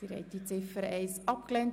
Sie haben Ziffer 1 abgelehnt.